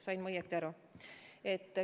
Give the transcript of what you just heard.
Sain ma õigesti aru?